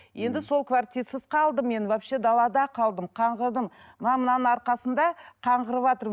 енді сол квартирасыз қалдым мен вообще далада қалдым қаңғырдым мынанның арқасында